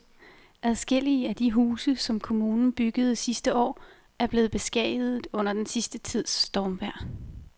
Adskillige af de huse, som kommunen byggede sidste år, er blevet beskadiget under den sidste tids stormvejr.